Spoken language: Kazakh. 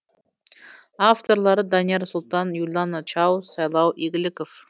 авторлары данияр сұлтан юлана чаус сайлау игіліков